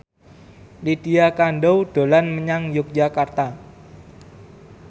Lydia Kandou dolan menyang Yogyakarta